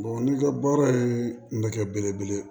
n'i ka baara ye nɛgɛ belebele ye